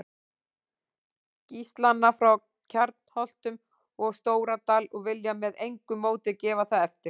Gíslana frá Kjarnholtum og Stóradal og vilja með engu móti gefa það eftir.